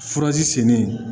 Furaji sen de